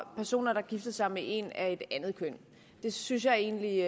personer der gifter sig med en af et andet køn det synes jeg egentlig